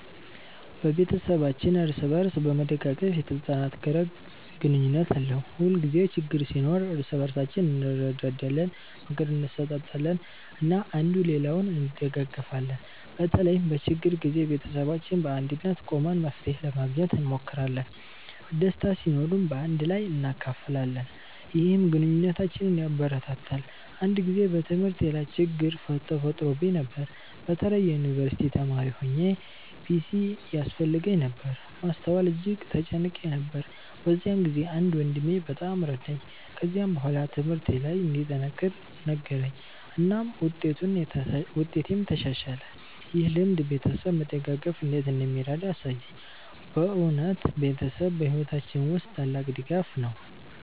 ቤተሰባችን እርስ በእርስ በመደጋገፍ የተጠናከረ ግንኙነት አለው። ሁልጊዜ ችግኝ ሲኖር እርስ በእርሳችን እንረዳዳለን፣ ምክር እንሰጣጣለን እና አንዱ ሌላውን እንደጋገፊለን። በተለይም በችግር ጊዜ ቤተሰባችን በአንድነት ቆመን መፍትሄ ለማግኘት እንሞክራለን። ደስታ ሲኖርም በአንድ ላይ እናካፍላለን፣ ይህም ግንኙነታችንን ያበረታታል። አንድ ጊዜ በትምህርቴ ላይ ችግኝ ተፈጥሮብኝ ነበር። በተለይ የዩንቨርሲቲ ተማሪ ሆኘ ፒሲ ያስፈልገኝ ነበር ማስተዋል እጅግ ተጨንቄ ነበር። በዚያ ጊዜ አንድ ወንድሜ በጣም ረዳኝ። ከዚያ በኋላ ትምህርቴ ለይ እንድጠነክር ነገረኝ እናም ውጤቴም ተሻሻለ። ይህ ልምድ ቤተሰብ መደጋገፍ እንዴት እንደሚረዳ አሳየኝ። በእውነት ቤተሰብ በሕይወታችን ውስጥ ታላቅ ድጋፍ ነው።